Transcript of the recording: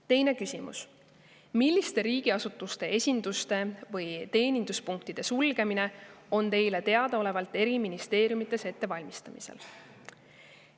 Teine küsimus: "Milliste riigiasutuste esinduste või teeninduspunktide sulgemine on Teile teadaolevalt eri ministeeriumites ette valmistamisel?